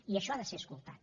i això ha de ser escoltat